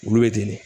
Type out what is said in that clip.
Olu bɛ deli